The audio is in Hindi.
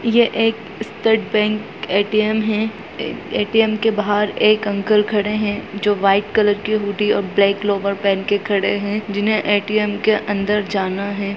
ये एक स्टेट बैंक ए.टी.एम. है ए.टी.एम. के बाहर एक अंकल खड़े है जो वाइट कलर की हुडी और ब्लैक लोअर पेहेन कर खड़े है जिन्हे ए.टी.एम. के अंदर जाना है।